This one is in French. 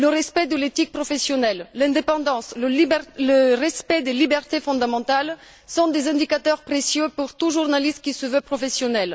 Le respect de l'éthique professionnelle, l'indépendance, le respect des libertés fondamentales sont des indicateurs précieux pour tout journaliste qui se veut professionnel.